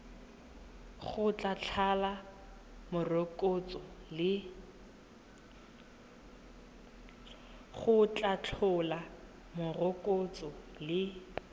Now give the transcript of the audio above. go tla tlhola morokotso le